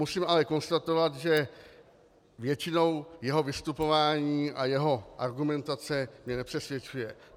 Musím ale konstatovat, že většinou jeho vystupování a jeho argumentace mě nepřesvědčuje.